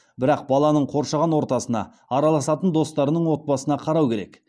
бірақ баланың қоршаған ортасына араласатын достарының отбасына қарау керек